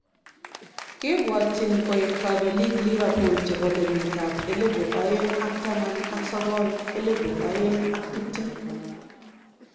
Kebwotyin koeek kobelik Liverpool chibo kenyit ab elebu oeng ak taman ak sokol /elebu oeng ak tiptem